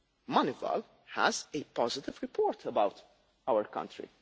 Moneyval has a positive report about our country.